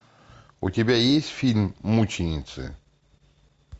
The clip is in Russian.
у тебя есть фильм мученицы